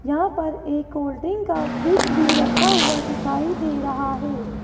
यहां पर एक कोल्ड ड्रिंक का फ्रिज भी रखा हुआ दिखाई दे रहा है।